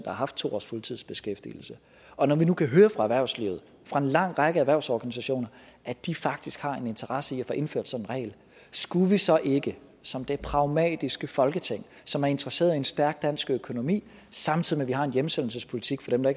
har haft to års fuldtidsbeskæftigelse og når vi nu kan høre fra erhvervslivet fra en lang række erhvervsorganisationer at de faktisk har en interesse i at der indføres den regel skulle vi så ikke som det pragmatiske folketing som er interesseret i en stærk dansk økonomi samtidig med at vi har hjemsendelsespolitik for dem der